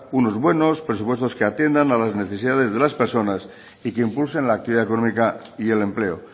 unos buenos presupuestos que atiendan a las necesidades de las personas y que impulsen la actividad económica y el empleo